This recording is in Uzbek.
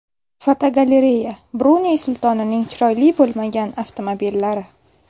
Fotogalereya: Bruney sultonining chiroyli bo‘lmagan avtomobillari.